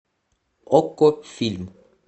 окко фильм